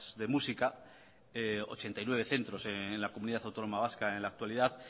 de música ochenta y nueve centros en la comunidad autónoma vasca en la actualidad